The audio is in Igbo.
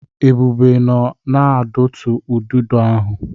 Ebube nọ na-adụtu ududo ahụ.